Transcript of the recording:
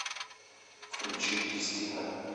включи кристина